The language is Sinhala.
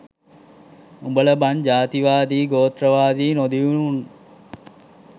උඹලා බන් ජාතිවාදී ගෝත්‍රවාදී නොදියුනු උන්